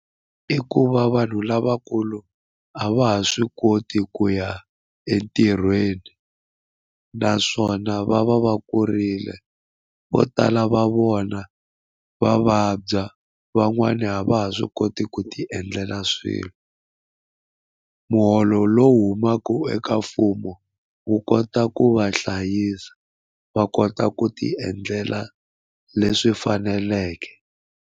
I ku va vanhu lavakulu a va ha swi koti ku ya entirhweni naswona va va va kurile vo tala va vona va vabya van'wana a va ha swi koti ku ti endlela swilo muholo lowu humaka eka mfumo wu kota ku va hlayisa va kota ku ti endlela leswi faneleke.